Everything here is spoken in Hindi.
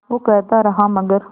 वो कहता रहा मगर